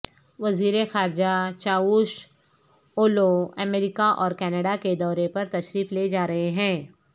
وزیر خارجہ چاوش اولوامریکہ اور کینڈا کے دورے پر تشریف لے جا رہے ہیں